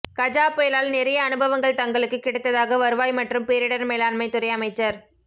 கஜா புயலால் நிறைய அனுபவங்கள் தங்களுக்குக் கிடைத்ததாக வருவாய் மற்றும் பேரிடர் மேலாண்மைத் துறை அமைச்சர்